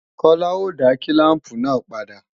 Kọ́lá ó dá kílàmpù náà padà